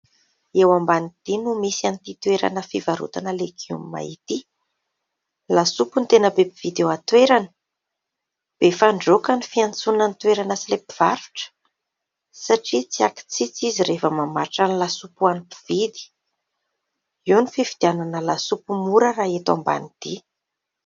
Eo Ambanidia no misy an'ity toerana fivarotana legioma ity. Lasopy no tena be mpividy eo an-toerana. Befandroaka no fiantsoana ilay toerana sy ilay mpivarotra, satria tsy ankitsitsy izy raha vao mamatra ny lasopy ho an'ny mpividy. Eo no fividianana lasopy mora raha eto Ambanidia.